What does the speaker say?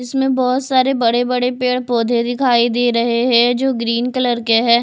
इसमें बहोत सारे बड़े बड़े पेड़ पौधे दिखाई दे रहे है जो ग्रीन कलर के है।